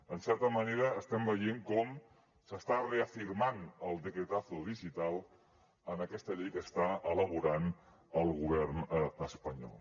en certa manera estem veient com s’està reafirmant el decretazogital en aquesta llei que està elaborant el govern espanyol